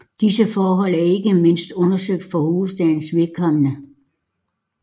Disse forhold er ikke mindst undersøgt for hovedstadens vedkommende